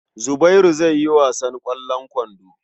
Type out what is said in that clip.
Zubairu zai yi wasan ƙwallon kwando.